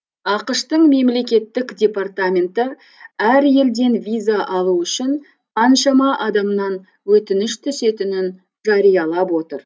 ақш тың мемлекеттік департаменті әр елден виза алу үшін қаншама адамнан өтініш түсетінін жариялап отыр